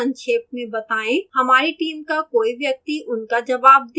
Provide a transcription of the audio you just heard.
हमारी team का कोई व्यक्ति उनका जवाब देगा